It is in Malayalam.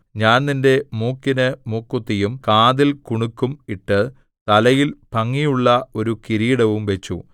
ഞാൻ നിന്റെ മൂക്കിനു മൂക്കുത്തിയും കാതിൽ കുണുക്കും ഇട്ട് തലയിൽ ഭംഗിയുള്ള ഒരു കിരീടവും വച്ചു